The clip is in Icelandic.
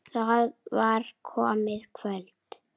Það var komið kvöld.